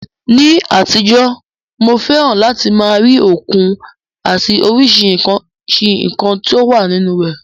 Ní àtijọ́, mo fẹ́ràn láti máa rí òkun àti oríṣiríṣi nǹkan tó wà nínú rẹ̀.